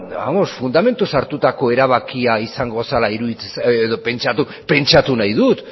fundamentuz hartutako erabakia izango zela pentsatu nahi dut